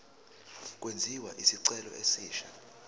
kwenziwe isicelo esisha